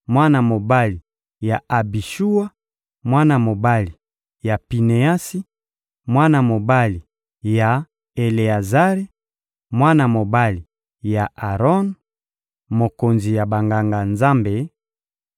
mwana mobali ya Abishuwa, mwana mobali ya Pineasi, mwana mobali ya Eleazari, mwana mobali ya Aron, mokonzi ya Banganga-Nzambe,